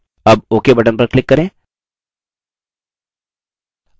अब ok button पर click करें